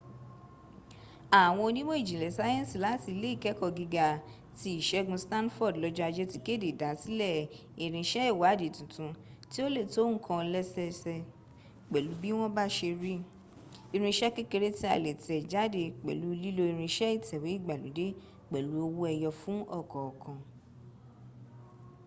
àwọn onímọ̀ ìjìnlẹ̀ sáyẹ̀nsì láti ilé ìkẹ́ẹ̀kọ́ gíga ti ìsègun stanford lọ́jọ́ ajé ti kéde ìdásílẹ̀ irinṣẹ́ ìwádìí tuntun tí ó le tó nǹkan lẹ́sẹẹsẹ pẹ̀lú bí wọ́n bá se rí: irinṣẹ́ kéreké tí a lè tẹ̀ jáde pẹ̀lú lílo irinṣẹ́ ìtẹ̀wé ìgbàlódé pẹ̀lú owó ẹyọ fún ọ̀kọ̀ọ̀kan